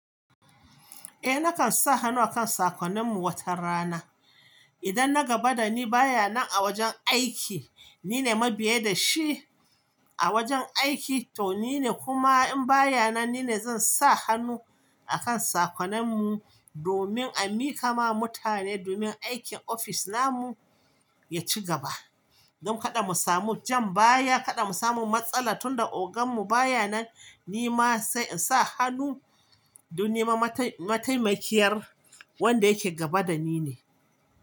Eh, nakan sa hannu akan sakonnin mu wata rana. Idan na gaba da ni baya nan a wajen aiki, nine mabiya da shi a wajen aiki to nine kuma in baya nan nine zan sa hannu a kan sakonen mu domin a miƙa ma mutane domin aikin ofis na mu ya ci gaba. Don kada mu samu jan baya, kada mu samu matsala tunda ogan mu baya nan ni ma sai in sa hannu domin mataimakiyar wanda yake gaba da ni ne.